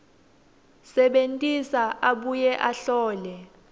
sebentisa abuye ahlole